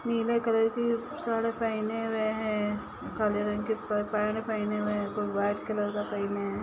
नीले कलर की शर्ट पेनहे हुए हिय काले रंग की पेन्ट पेनहे हुए हिय ऊपर व्हाइट कलर का पेनहे है।